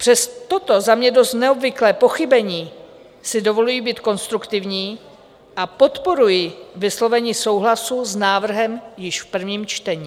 Přes toto za mě dost neobvyklé pochybení si dovoluji být konstruktivní a podporuji vyslovení souhlasu s návrhem již v prvním čtení.